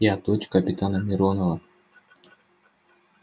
я дочь капитана миронова